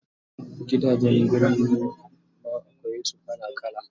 Gidajen Birni ma akwai su kala kala